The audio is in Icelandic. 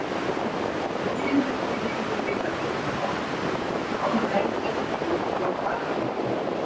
Lifum ekki lengur við það litla hopp, í hálfvelgjunni einsog allir hinir.